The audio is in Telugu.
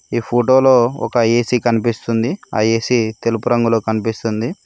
ఈ ఫోటోలో ఒక ఏ_సీ కనిపిస్తుంది ఆ ఏ_సీ తెలుపు రంగులో కనిపిస్తుంది.